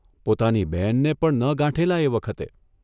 પોતાની બહેનને પણ ન ગાંઠેલા એ વખતે !